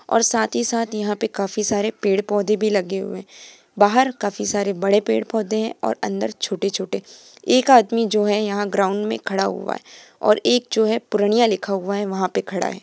और साथ ही साथ यहां पे काफी सारे पेड़-पौधे भी लगे हुए है बाहर काफी सारे बड़े पेड़-पौधे है और अंदर छोटे-छोटे एक आदमी जो है यहां ग्राउन्ड मे खड़ा हुआ है और एक जो है पूर्णिया लिखा हुआ है वहां पे खड़ा है।